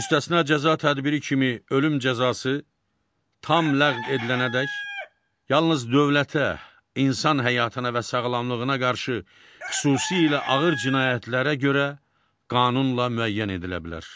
Müstəsna cəza tədbiri kimi ölüm cəzası tam ləğv edilənədək yalnız dövlətə, insan həyatına və sağlamlığına qarşı xüsusilə ağır cinayətlərə görə qanunla müəyyən edilə bilər.